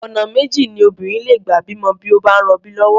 Ọ̀nà méjì ni obìnrin lè gbà bímọ bí ó bá ń rọbí lọ́wọ́.